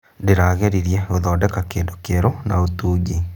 Ndĩrageririe gũthondeka kĩndũ kĩerũ na ũtungi.